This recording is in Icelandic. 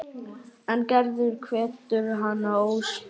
En Gerður hvetur hann óspart.